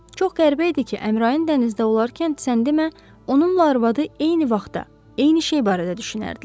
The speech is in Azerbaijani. Çox qəribə idi ki, Əmrayın dənizdə olarkən sən demə, onunla arvadı eyni vaxtda, eyni şey barədə düşünərdilər.